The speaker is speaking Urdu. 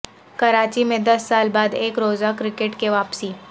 کراچی میں دس سال بعد ایک روزہ کرکٹ کی واپسی